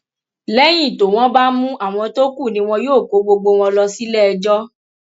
lẹyìn tó wọn bá mú àwọn tó kù ni wọn yóò kó gbogbo wọn lọ síléẹjọ